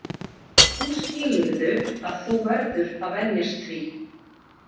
Nú skilurðu að þú verður að venjast því.